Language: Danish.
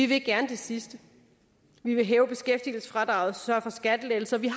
vil gerne det sidste vi vil hæve beskæftigelsesfradraget og sørge for skattelettelser vi